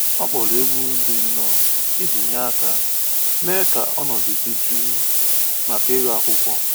Ọ kpọrọ egwu dị nro iji nye aka mee ka ọnọdụ dị jụụ maka ịgụ akwụkwọ